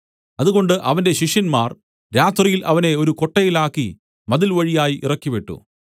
അതുകൊണ്ട് അവന്റെ ശിഷ്യന്മാർ രാത്രിയിൽ അവനെ ഒരു കൊട്ടയിലാക്കി മതിൽവഴിയായി ഇറക്കിവിട്ടു